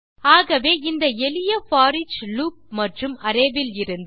ஆகவே இந்த எளிய போரிச் லூப் மற்றும் அரே விலிருந்து